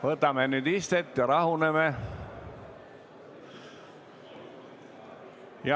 Võtame nüüd istet ja rahuneme.